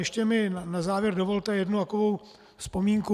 Ještě mi na závěr dovolte jednu takovou vzpomínku.